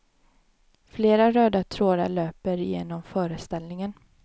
Flera röda trådar löper genom föreställningen.